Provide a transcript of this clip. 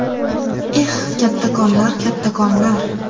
Eh, kattakonlar, kattakonlar!